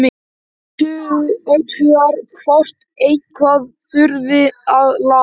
Athugar hvort eitthvað þurfi að laga.